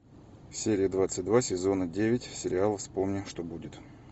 серия двадцать два сезона девять сериала вспомни что будет